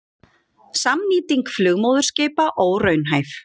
Samnýting flugmóðurskipa óraunhæf